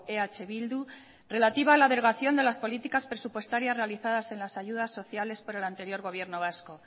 eh bildu relativa a la delegación de las políticas presupuestarias realizadas en las ayudas sociales para el anterior gobierno vasco